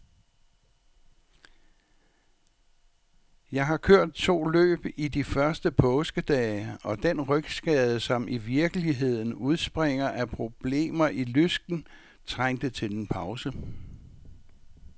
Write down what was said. Jeg har kørt to løb i de første påskedage, og den rygskade, som i virkeligheden udspringer af problemer i lysken, trængte til en pause.